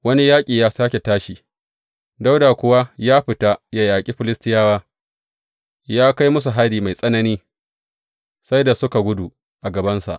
Wani yaƙi ya sāke tashi, Dawuda kuwa ya fita ya yaƙi Filistiyawa, ya kai musu hari mai tsanani, sai da suka gudu a gabansa.